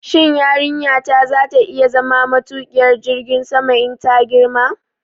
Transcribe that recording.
Shin yarinyata za ta iya zama matuƙiyar jirgin sama in ta girma?